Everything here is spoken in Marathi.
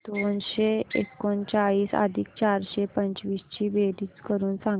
दोनशे एकोणचाळीस अधिक चारशे पंचवीस ची बेरीज करून सांगा